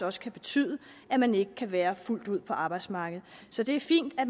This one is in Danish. også kan betyde at man ikke kan være fuldt ud på arbejdsmarkedet så det er fint at